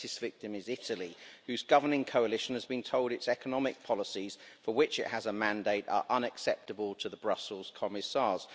The latest victim is Italy, whose governing coalition has been told its economic policies for which it has a mandate are unacceptable to the Brussels commissars.